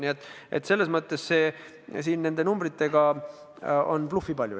Nii et selles mõttes nende numbrite puhul on bluffi palju.